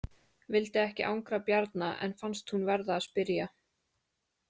Vildi ekki angra Bjarna en fannst hún verða að spyrja.